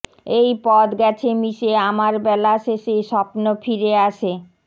এই পথ গেছে মিশে আমার বেলা শেষে স্বপ্ন ফিরে আসে